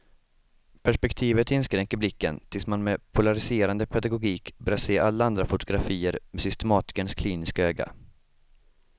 Perspektivet inskränker blicken tills man med polariserande pedagogik börjar se alla andra fotografier med systematikerns kliniska öga.